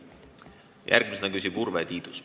Järgmisena küsib Urve Tiidus.